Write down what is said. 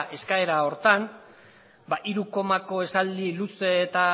eskaera horretan hiru komako esaldi luze eta